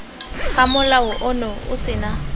ga molao ono o sena